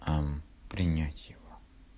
а принять его